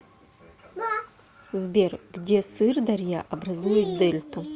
сбер где сырдарья образует дельту